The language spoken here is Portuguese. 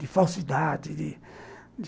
De falsidade, de